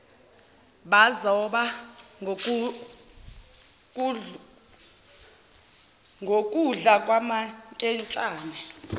bazoba ngukudla kwamankentshane